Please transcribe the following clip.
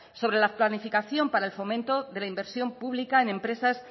sobre la planificación para el fomento de la inversión pública en empresas